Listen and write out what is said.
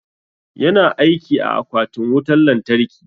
Yana aiki a akwatin wutan lantarki.